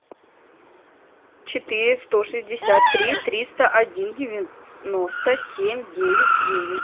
четыре сто шестьдесят три триста один девяносто семь девять девять